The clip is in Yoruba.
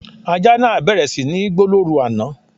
Ajá náà bẹ̀rẹ̀ sí ní gbó lóru àná